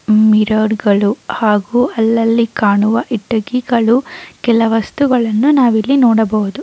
Mirror ಗಳು ಹಾಗು ಅಲ್ಲಲ್ಲಿ ಕಾಣುವ ಕಿಟಕಿಗಳು ಕೆಲ ವಸ್ತುಗಳನ್ನು ನಾವ್ ಇಲ್ಲಿ ನೋಡಬೋದು .